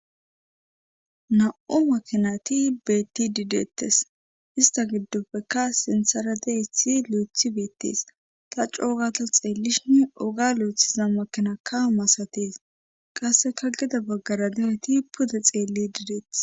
Na' makinati beetti dideettes ista giddopfeka sintsara deesi luethi beettees ta coogata xeellishini oga luethiza makinaka masatees qasseka gida baggara dehoyti puda xeelli dideetes.